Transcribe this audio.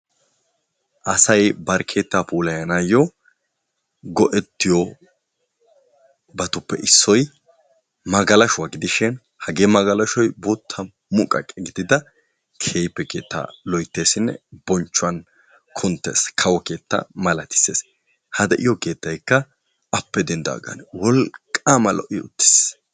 Asayi bari keettaa puulayanaayyo go"ettiyobatuppe issoyi magalashuwa gidishin hagee magalashoyi bootta muqaqe gidida kehippe keettaa loytteesinne bonchchuwan kunttes kawo keetta malatisses. Ha de"iyo keettaykka appe denddidaagaana wolqqaama lo"I uttis.